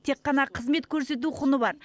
тек қана қызмет көрсету құны бар